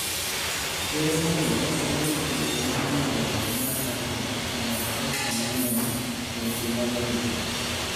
Ker Amollo dwaro ni pinje ma nie riwruok mar NATO omed pesa mang'eny e weche mag arita.